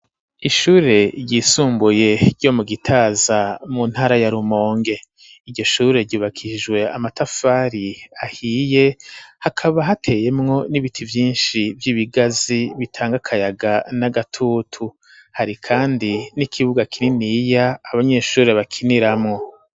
Ishure ryisumbuye ryo mu gitaza mu ntara ya rumonge iryo shure ryubakijwe amatafari ahiye, hakaba hateyemwo n'ibiti vyinshi vy'ibigazi bitanga akayaga n'agatutu hari kandi n'ikibuga kinini iyo abanyeshure bakiniramwo.